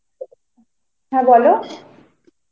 হ্যাঁ বল